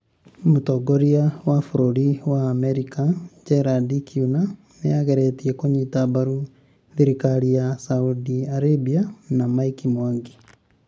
Mũtongoria wa bũrũri wa Amerika Gerald Kiuna nĩ ageretie kũnyita mbaru thirikari ya Saudi Arabia na Mike Mwangi